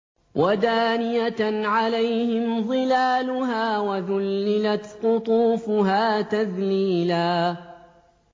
وَدَانِيَةً عَلَيْهِمْ ظِلَالُهَا وَذُلِّلَتْ قُطُوفُهَا تَذْلِيلًا